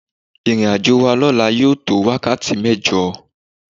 Ìrìnàjò wa lọ́la yóò tó wákàtí mẹ́jọ.